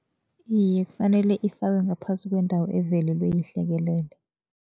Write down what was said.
Iye, kufanele ifakwe ngaphasi kwendawo evelelwe yihlekelele.